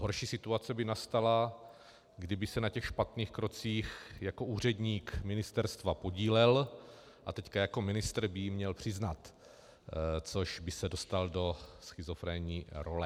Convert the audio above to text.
Horší situace by nastala, kdyby se na těch špatných krocích jako úředník ministerstva podílel a teď jako ministr by ji měl přiznat, což by se dostal do schizofrenní role.